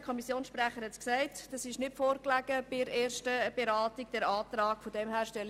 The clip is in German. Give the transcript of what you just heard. Der Kommissionssprecher hat bereits erwähnt, dass dieser Antrag während der ersten Beratung nicht vorgelegen hat.